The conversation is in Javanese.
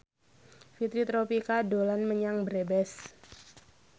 Fitri Tropika dolan menyang Brebes